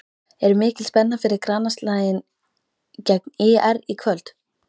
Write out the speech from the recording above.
Er mikil spenna fyrir grannaslaginn gegn ÍR í kvöld?